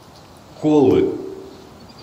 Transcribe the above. колы